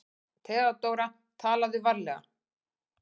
THEODÓRA: Talaðu varlega.